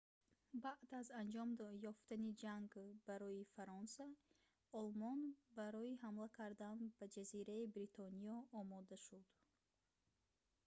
баъд аз анҷом ёфтани ҷанг барои фаронса олмон барои ҳамла кардан ба ҷазираи бритониё омода шуд